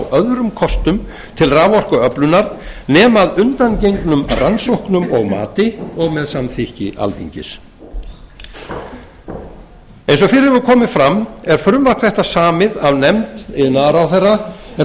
öðrum kostum til raforkuöflunar nema að undangengnum rannsóknum og mati og með samþykki alþingis eins og fyrr hefur komið fram er frumvarp þetta samið af nefnd iðnaðarráðherra en þó